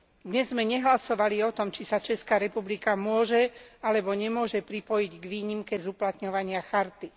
Dnes sme nehlasovali o tom, či sa Česká republika môže alebo nemôže pripojiť k výnimke z uplatňovania charty.